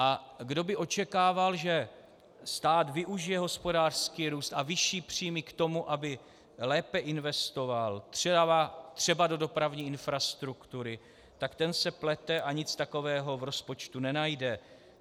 A kdo by očekával, že stát využije hospodářský růst a vyšší příjmy k tomu, aby lépe investoval třeba do dopravní infrastruktury, tak ten se plete a nic takového v rozpočtu nenajde.